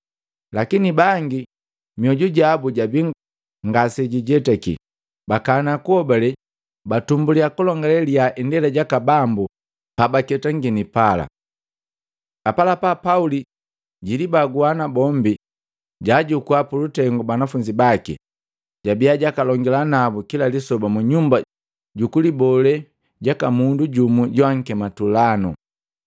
Lakini bangi mioju jabu jabii ngaseijetaki, bakana kuhobale, batumbuliya kulongale liyaa Indela jaka Bambu pabaketangini pala. Apalapa Pauli jilibagua nabombi, jaajukua pulutengu banafunzi baki, jabiya jakalongila nabu kila lisoba mu nyumba jukulibole jaka mundu jumu joakema Tulano.